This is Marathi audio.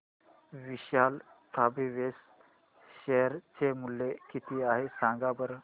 विशाल फॅब्रिक्स शेअर चे मूल्य किती आहे सांगा बरं